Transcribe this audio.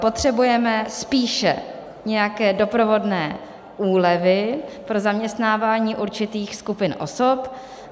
Potřebujeme spíše nějaké doprovodné úlevy pro zaměstnávání určitých skupin osob.